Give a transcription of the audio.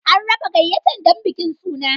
An raba gayyatar don bikin suna.